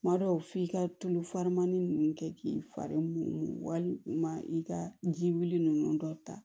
Kuma dɔw f'i ka tulu farani ninnu kɛ k'i fari walima i ka ji wuli nunnu dɔ ta